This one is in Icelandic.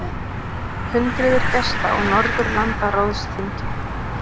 Hundruðir gesta á Norðurlandaráðsþingi